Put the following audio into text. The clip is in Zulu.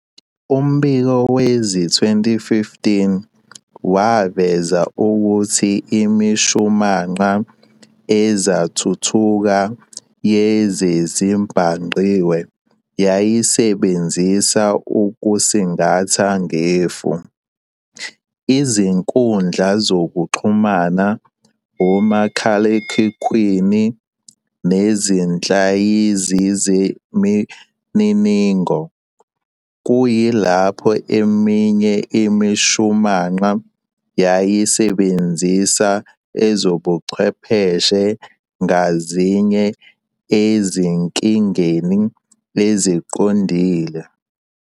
Umbiko wezi-2015 waveza ukuthi imishumanqa ezathuthuka yezezibhangqiwe yayisebenzisa ukusingatha ngefu, izinkundla zokuxhumana, omakhalekhukhwini nezihlaziyi zemininingo, kuyilapho eminye imishumanqa yayisebenzisa ezobuchwepheshe ngazinye ezinkingeni eziqondile.